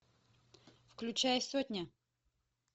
включай сотня